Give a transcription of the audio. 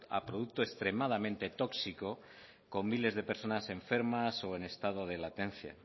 a producto extremadamente tóxico con miles de personas enfermas o en estado de latencia